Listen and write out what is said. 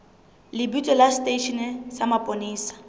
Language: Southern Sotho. lebitso la seteishene sa mapolesa